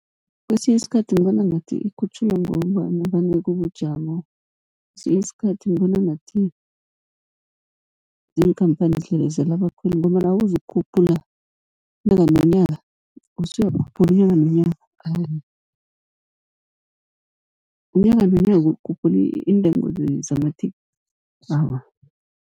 Kesinye isikhathi ngibona ngathi ikhutjhulwa ngombana vane kubujamo. Esinye isikhathi ngibona ngathi ziinkhamphani zidlelezela abakhweli, ngombana awuzukukhuphula unyaka nonyaka, usuyakhuphula unyaka nonyana awa, unyaka nonyana ukhuphula iintengo zamathikithi awa.